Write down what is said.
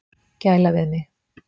Gæla við mig.